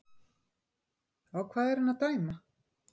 Á hvað er hann að dæma?